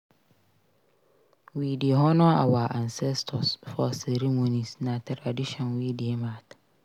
We dey honor our ancestors for ceremonies; na tradition wey dey matter.